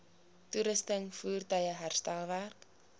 toerusting voertuie herstelwerk